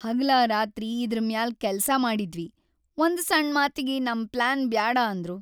ಹಗಲಾರಾತ್ರಿ ಇದ್ರ್ ಮ್ಯಾಲ್ ಕೆಲ್ಸಾ ಮಾಡಿದ್ವಿ‌, ಒಂದ್‌ ಸಣ್‌ ಮಾತಿಗಿ ನಮ್‌ ಪ್ಲಾನ್ ಬ್ಯಾಡ ಅಂದ್ರು.